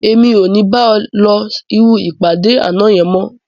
Èmi ò ní bá ẹ lọ irú ìpàdé àná yẹn mọ́